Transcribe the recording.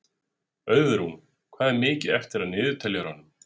Auðrún, hvað er mikið eftir af niðurteljaranum?